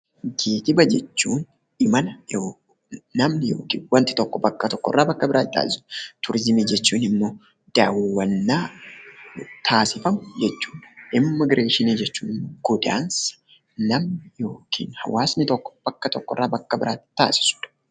Geejjiba jechuun imala namni yookiin wanti tokko bakka tokkorraa bakka biraatti taasisuu dha. Turizimii jechuun immoo daawwannaa taasifamu jechuu dha. Immigireeshinii jechuun godaansa namni yookiin hawaasni tokko bakka tokkorraa bakka biraatti taasisuu dha.